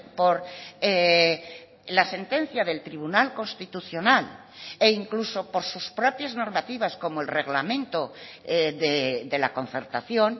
por la sentencia del tribunal constitucional e incluso por sus propias normativas como el reglamento de la concertación